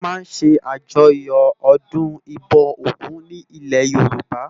Wòn má n sé àjòyò òdún ibò ógùn nilè Yoruba